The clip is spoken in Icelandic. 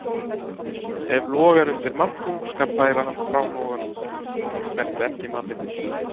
Ef logar undir matnum skal færa hann frá loganum, þó hann snerti ekki matinn.